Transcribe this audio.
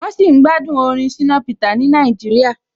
Wọ́n sì ń gbádùn orin Shina Peter ni Nàìjíríà.